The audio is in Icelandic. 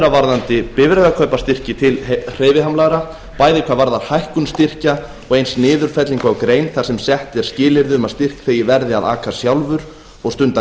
varðandi bifreiðakaupastyrki til hreyfihamlaðra bæði hvað varðar hækkun styrkja og eins niðurfellingu á grein þar sem sett eru skilyrði um að styrkþegi verði að aka sjálfur og stunda